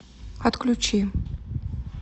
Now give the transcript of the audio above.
отключи